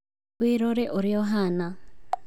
Wĩrore ũrĩa ũhana.